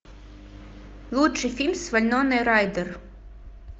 лучший фильм с вайноной райдер